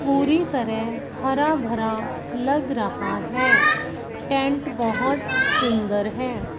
पूरी तरह हरा भरा लग रहा है टेंट बहोत सुंदर है।